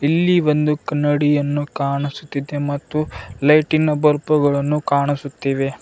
ಇಲ್ಲಿ ಒಂದು ಕನ್ನಡಿಯನ್ನು ಕಾಣಿಸುತ್ತಿದೆ ಮತ್ತು ಲೈಟಿನ ಬಲ್ಪುಗಳನ್ನು ಕಾಣಿಸುತ್ತಿವೆ.